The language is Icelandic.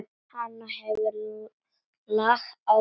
Hann hefur lag á fólki.